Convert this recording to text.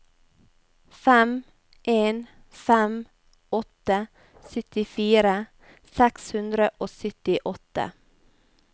fem en fem åtte syttifire seks hundre og syttiåtte